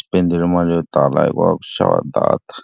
spend-ile mali yo tala hi ku va ku xava data.